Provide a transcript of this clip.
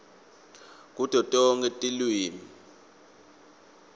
kuto tonkhe tilwimi